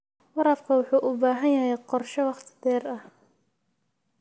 Waraabka waxa uu u baahan yahay qorshe wakhti dheer ah.